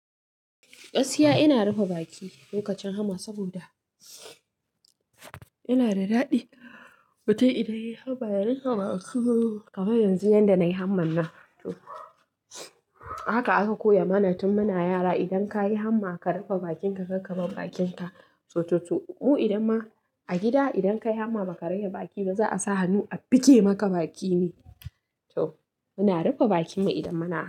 Gaskiya ina rufe baki lokacin hamma saboda ina da daɗi. Matum idan yayi hamma ya rufe baki. Kamar yanzu yanda nayi hamman nan. Haka aka koya mana tun muna yara. Idan kayi hamma ka rufe bakinka, kar ka bar bakinka. To to to mu idan ma a gida idan kayi hamma baka rage baki ba za a sa hannu a buge maka baki ne. To muna rufe bakin mu idan muna hamma.